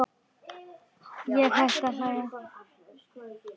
Ég hætti að hlæja.